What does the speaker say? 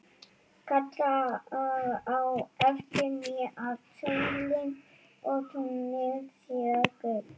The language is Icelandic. Kallar á eftir mér að sólin og tunglið séu gull.